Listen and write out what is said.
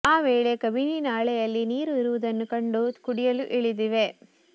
ಆ ವೇಳೆ ಕಬಿನಿ ನಾಲೆಯಲ್ಲಿ ನೀರು ಇರುವುದನ್ನು ಕಂಡು ಕುಡಿಯಲು ಇಳಿದಿವೆ